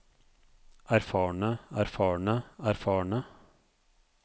erfarne erfarne erfarne